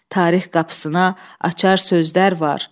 Tarix qapısına açar sözlər var.